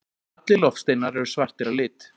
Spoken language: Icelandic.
allir loftsteinar eru svartir að lit